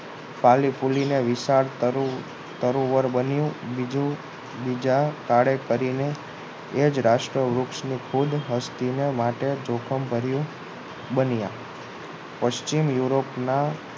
ફાલીફુલીને વિશાળ તારું તરુવર બન્યું બીજું બીજા કાળે તેને એ જ રાષ્ટ્ર વૃક્ષની ખુદ વૃદ્ધિ માટે જોખમ ભર્યું બન્યા પશ્ચિમ યુરોપના